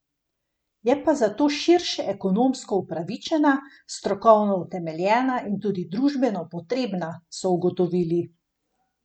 Je pa zato širše ekonomsko upravičena, strokovno utemeljena in tudi družbeno potrebna, so ugotovili.